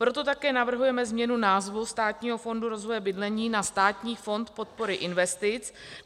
Proto také navrhujeme změnu názvu Státního fondu rozvoje bydlení na Státní fond podpory investic.